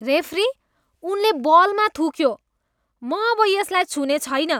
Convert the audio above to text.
Referee, उनले बलमा थुक्यो। म अब यसलाई छुने छैन।